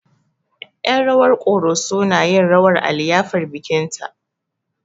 Yen rawar ƙoroso na yin rawar a liyafar bikin ta